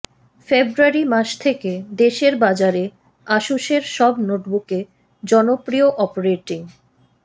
ফেব্রুয়ারি মাস থেকে দেশের বাজারে আসুসের সব নোটবুকে জনপ্রিয় অপারেটিং